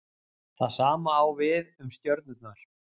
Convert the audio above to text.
það sama á við um stjörnurnar